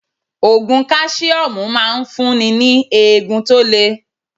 Ògùn káṣíọ́mù ń máa ń fún ni ní eegun tó le.